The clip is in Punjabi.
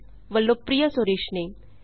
ਐੱਲਟੀਡੀ ਵੱਲੋਂ ਪ੍ਰਿਯਾ ਸੁਰੇਸ਼ ਨੇ